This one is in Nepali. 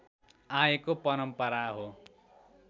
आएको परम्परा हो